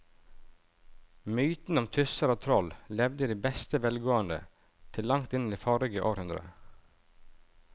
Mytene om tusser og troll levde i beste velgående til langt inn i forrige århundre.